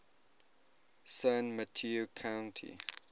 san mateo county